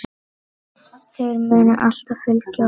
Þær munu alltaf fylgja okkur.